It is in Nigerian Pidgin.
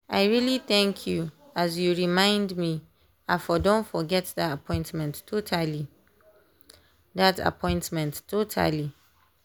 i really thank you as you remind me i for don forget that appointment totally. that appointment totally.